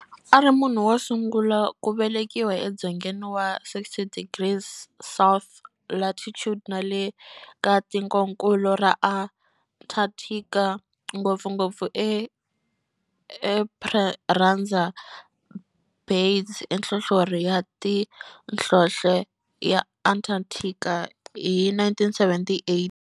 A ri munhu wosungula ku velekiwa e dzongeni wa 60 degrees south latitude nale ka tikonkulu ra Antarctic, ngopfungopfu eEsperanza Base enhlohlorhini ya nhlonhle ya Antarctic hi 1978.